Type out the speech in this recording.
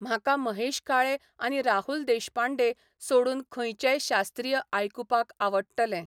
म्हाका महेश काळे आनी राहुल देशपांडे सोडून खंयचेंय शास्त्रीय आयकुपाक आवडटलें